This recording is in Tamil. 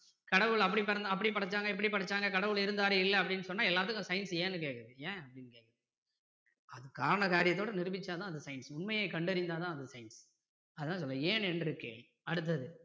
கடவுள் அப்படி படைச்சாங்க இப்படி படைச்சாங்க கடவுள் இருந்தாரு இல்லை அப்படின்னு சொன்னா எல்லாத்துக்கும் science ஏன்னு கேட்குது ஏன் அது காரண காரியத்தோடு நிரூபிச்சாதான் அது science உண்மையை கண்டறிந்தா தான் அது science அதான் சொல்றாரு ஏன் என்று கேள் அடுத்தது